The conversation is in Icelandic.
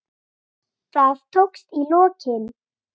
Það tókst í lokin.